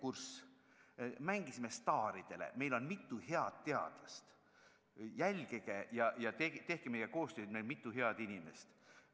Me mängisime staaridele: meil on mitu head teadlast, jälgige meid ja tehke meiega koostööd, meil on mitu head inimest.